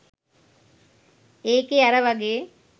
ඒකේ අර වගේ